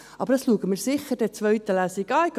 Dies schauen wir sicher in der zweiten Lesung an.